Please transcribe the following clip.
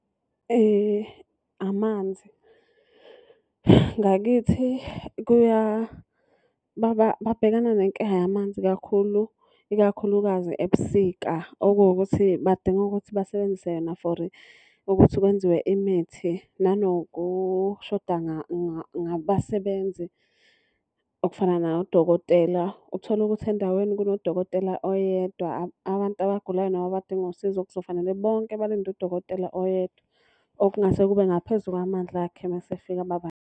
Amanzi. Ngakithi babhekana nenkinga yamanzi kakhulu ikakhulukazi ebusika okuwukuthi badinga ukuthi basebenzise yona for ukuthi kwenziwe imithi. Nanokushoda ngabasebenzi okufana nodokotela. Uthole ukuthi endaweni kunodokotela oyedwa, abantu abagulayo noma abadinga usizo kuzofanele bonke balinde udokotela oyedwa. Okungase kube ngaphezu kwamandla akhe uma esefika .